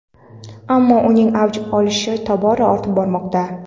ammo uning avj olishi tobora ortib bormoqda.